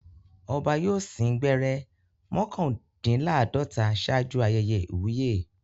Ọba yóò sín gbẹ́rẹ́ mọ́kàndínláàdọ́ta ṣáájú ayẹyẹ ìwúyè.